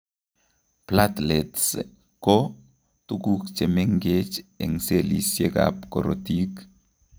Platelets koo tuguk chemengech eng cellisiek ab korotik